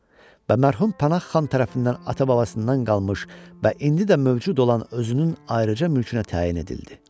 Və mərhum Pənah xan tərəfindən ata-babasından qalmış və indi də mövcud olan özünün ayrıca mülkünə təyin edildi.